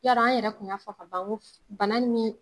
Ya dɔn an yɛrɛ kun ya fɔ ka ban ko bana ni